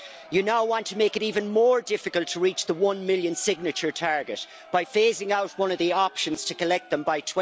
It now wants to make it even more difficult to reach the one million signature target by phasing out one of the options to collect them by